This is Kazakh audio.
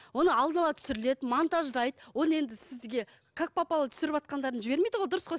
оны алдын ала түсіріледі монтаждайды оны енді сізге как попало түсіріватқандарын жібермейді ғой дұрыс қой